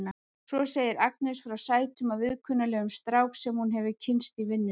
Svo segir Agnes frá sætum og viðkunnanlegum strák sem hún hefur kynnst í vinnunni.